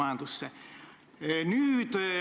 Aitäh, hea küsija!